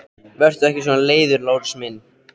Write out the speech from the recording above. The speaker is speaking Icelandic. Vertu ekki svona leiður, Lárus minn!